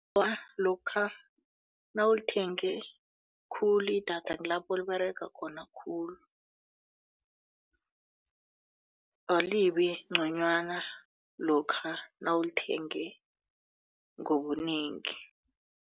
Awa, lokha nawulithenge khulu idatha kulapho liberega khona khulu alibi ngconywana lokha nawulithenge ngobunengi.